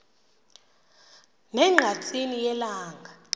ne ngqatsini yelanga